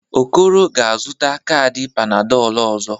Okoro ga-azụta kaadị Panadolụ ọzọ.